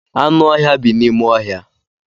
Anụ ọhịa bi n'ime ọhịa.